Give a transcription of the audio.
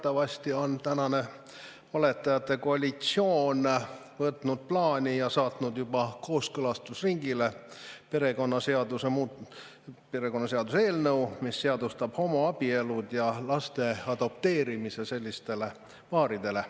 Teatavasti on tänane valetajate koalitsioon võtnud plaani ja saatnud juba kooskõlastusringile perekonnaseaduse eelnõu, mis seadustab homoabielud ja selliste paaride võimaluse lapsi adopteerida.